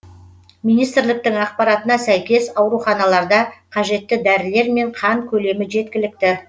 министрліктің ақпаратына сәйкес ауруханаларда қажетті дәрілер мен қан көлемі жеткілікті